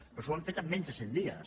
però això ho hem fet en menys de cent dies